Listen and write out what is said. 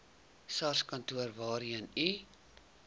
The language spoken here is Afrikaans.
sarskantoor waarheen u